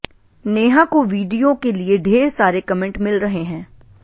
नेहा को वीडियो के लिए ढेर सारे कमेंट मिल रहे हैं